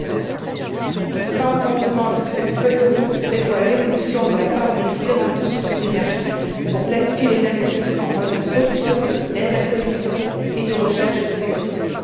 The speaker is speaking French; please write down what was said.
2050. Notre Parlement demande que cette feuille de route prévoie l'évolution de la part des différentes sources d'énergie pour planifier les investissements en moyens de production, d'interconnexions et de recherche et de développement.